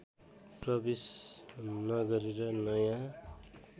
प्रवेश न गरेर नयाँ